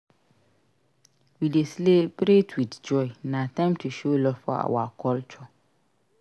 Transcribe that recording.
We dey celebrate with joy; na time to show love for our culture.